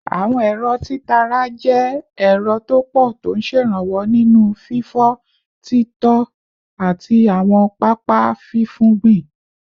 Àwọn ẹ̀rọ títara jẹ́ ẹ̀rọ tó pọ̀ tó ń ṣèrànwọ́ nínú fífọ́, títọ́, àti àwọn pápá fífúngbìn